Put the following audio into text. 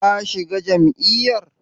Ka shiga jam'iyyar?